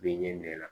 Bɛ ɲɛ na